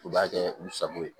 U b'a kɛ u sago ye